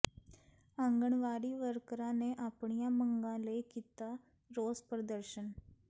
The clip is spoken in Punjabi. ਆਂਗਣਵਾੜੀ ਵਰਕਰਾਂ ਨੇ ਆਪਣੀਆਂ ਮੰਗਾਂ ਲਈ ਕੀਤਾ ਰੋਸ ਪ੍ਰਦਰਸ਼ਨ